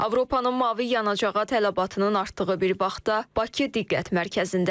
Avropanın mavi yanacağa tələbatının artdığı bir vaxtda Bakı diqqət mərkəzindədir.